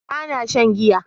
ba na shan giya